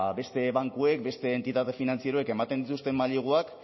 beste bankuek beste entitate finantzieroek ematen dituzten maileguak